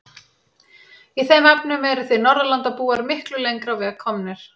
Í þeim efnum eruð þið Norðurlandabúar miklu lengra á veg komnir.